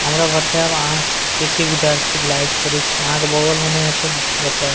हमरा बताएब आहां सब के के विद्यार्थी लाइक करे छी आहां के बगल मे ने हेत ते बताएब --